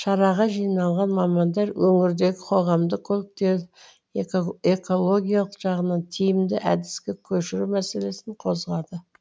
шараға жиылған мамандар өңірдегі қоғамдық көліктерді экологиялық жағынан тиімді әдіске көшіру мәселесін қозғады